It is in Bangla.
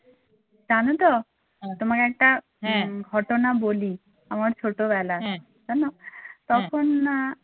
জানোতো তোমাকে একটা ঘটনা বলি আমার ছোট বেলার জানো তখন না